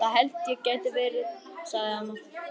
Það held ég geti verið, sagði amma.